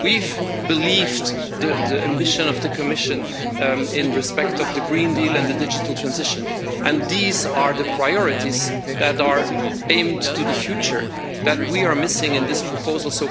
We've believed the ambition of the Commission in respect of the Green Deal and the Digital Transition, and these are the priorities that are aimed to the future, that we are missing in this proposal.